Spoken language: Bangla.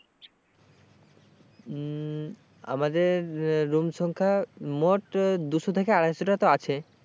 হম আমাদের room সংখ্যা মোট দুশো থেকে আড়াই শো টা তো আছে।